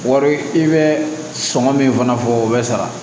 Wari i bɛ sɔngɔ min fana fɔ o bɛ sara